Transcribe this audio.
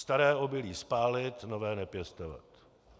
Staré obilí spálit, nové nepěstovat.